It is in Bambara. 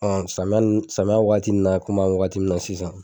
Ɔn samiya samyan wagati in na komi an bɛ waati min na sisan.